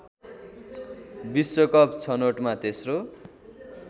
विश्वकप छनोटमा तेस्रो